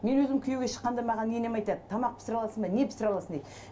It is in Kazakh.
мен өзім күйеуге шыққанда маған енем айтады тамақ пісіре аласың ба не пісіре аласың дейді